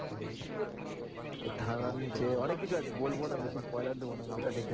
থানার নিচে অনেক কিছু আছে বলবো না বেশি দিব না movie টা দেখে